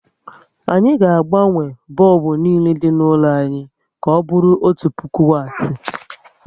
Anyị ga agbanwe bọlbụ niile dị n'ụlọ anyị ka ọbụrụ otu puku wati